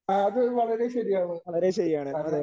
ആ അത് വളരെ ശരിയാണ് കാരണം